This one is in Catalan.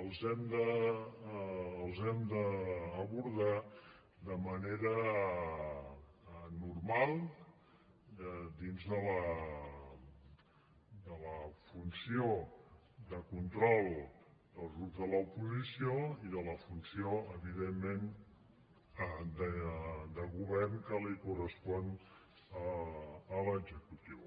els hem d’abordar de manera normal dins de la funció de control dels grups de l’oposició i de la funció evidentment de govern que li correspon a l’executiu